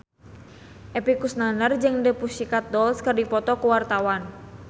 Epy Kusnandar jeung The Pussycat Dolls keur dipoto ku wartawan